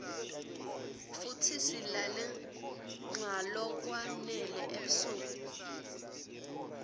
futsi silale nqalokwa nele ebusuk